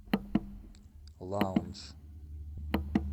лаундж